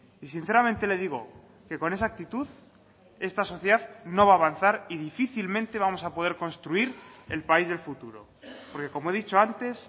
y sinceramente le digo que con esa actitud esta sociedad no va a avanzar y difícilmente vamos a poder construir el país del futuro porque como he dicho antes